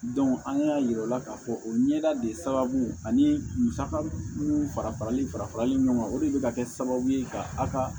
an y'a yira u la k'a fɔ o ɲɛda de sababu ani musaka minnu fara farali fara farali ɲɔgɔn kan o de bɛ ka kɛ sababu ye ka a ka